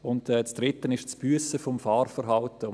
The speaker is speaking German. Das Dritte ist das Büssen des Fahrverhaltens.